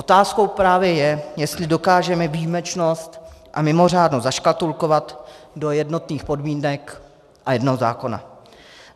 Otázkou právě je, jestli dokážeme výjimečnost a mimořádnost zaškatulkovat do jednotných podmínek a jednoho zákona.